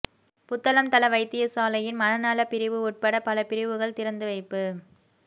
புத்தளம் தள வைத்தியசாலையின் மனநல பிரிவு உட்பட பல பிரிவுகள் திறந்துவைப்பு